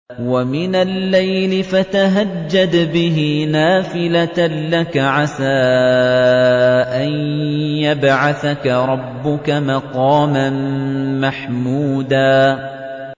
وَمِنَ اللَّيْلِ فَتَهَجَّدْ بِهِ نَافِلَةً لَّكَ عَسَىٰ أَن يَبْعَثَكَ رَبُّكَ مَقَامًا مَّحْمُودًا